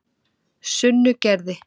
Sunnugerði